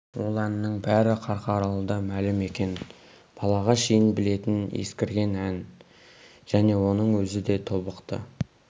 ол әннің бәрі қарқаралыда мәлім екен балаға шейін білетін ескірген ән және оның өзі де тобықты